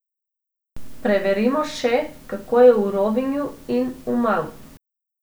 Preverimo še, kako je v Rovinju in Umagu.